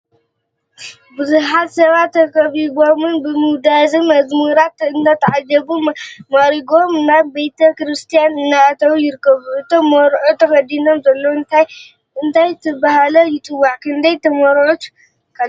ብብዙሓት ሰባት ተከቢቦልም ብውዳሰን መዝሙራትን እናተዓጀቡ ማዕሪጎም ናብ ቤተ ክርስትያን እናተዉ ይርከቡ። እቶም መርዑት ተከዲኖምዎ ዘለዉ እንታይ እናተባሃለ ይፅዋዕ? ክንደይ ተመርዐዉቲከ አለዉ?